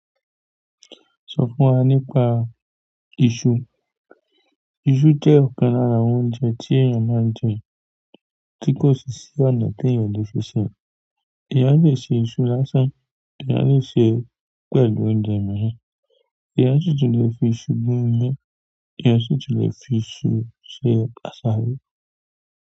Sọ fún wa nípa iṣu? Isu jẹ́ ọ̀kan lára àwọn oúnjẹ tí èèyàn máa ń jẹ, tí kò sì sí ọ̀nà tí èèyàn kò le fi ṣèé, èèyàn lè ṣe iṣu lásán, èèyàn lè ṣèé pẹ̀lú oúnjẹ mìíràn, èèyàn sì tún le fi isu gún iyán, èèyàn sì tún le fi isu ṣe àṣáró.